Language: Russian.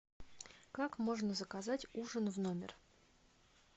как можно заказать ужин в номер